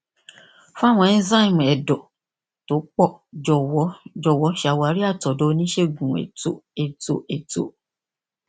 fún àwọn enzyme ẹdọ tó pọ jọwọ jọwọ ṣawari àtọdọ oníṣègùnètóètóèètó